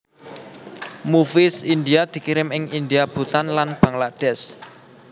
Movies India dikirim ing India Bhutan lan Bangladesh